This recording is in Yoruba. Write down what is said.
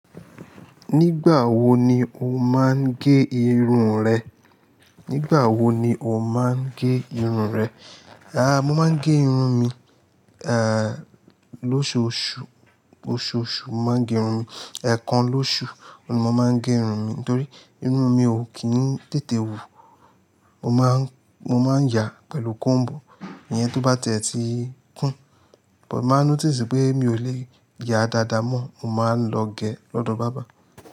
Nígbà wo ni o máa ń gé irun rẹ? Nígbà wo ni o máa ń gé irun rẹ? Àá, mo máa ń gé irun mi, eh, lóṣoṣù, oṣoṣù mo máa ń gé irun mi. Ẹ̀kan lóṣù ni mo máa ń gé irun mi nítorí irun mi ò kí ń tètè wù. Mo máa ń, mo máa ń yà pẹ̀lú combu, ìyẹn tó bá to ba ti ẹ́ tíi kún, mo máa notice pé mi ò lè yà dáadáa mọ́, mo máa lọ gé lọ́dọ̀ barber.